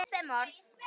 Jú, það tókst!